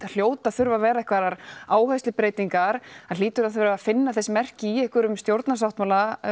hljóta að þurfa vera einhverjar áherslubreytingar það hlýtur að þurfa finna þess merki í einhverjum stjórnarsáttmála